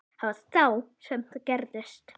Það var þá sem það gerðist.